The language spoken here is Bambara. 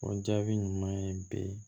O jaabi ɲuman ye bi